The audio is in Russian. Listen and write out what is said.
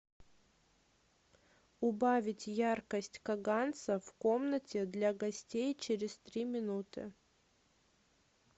убавить яркость каганца в комнате для гостей через три минуты